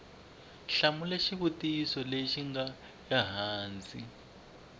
hlamula xivutiso lexi nga ehansi